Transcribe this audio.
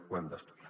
ho hem d’estudiar